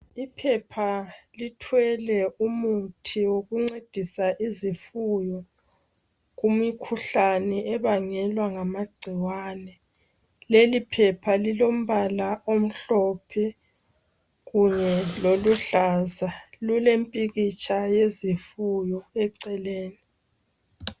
Iphepha lithwele imuthi wokuncedisa izifuyo kumikhuhlane ebangelwa ngamagcikwane. Leli phepha lilombala omhlophe kunye loluhlaza. Lilemphikhitsha wesifuyo eceleni.